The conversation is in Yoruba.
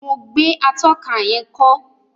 Mo gbé atóka yén kó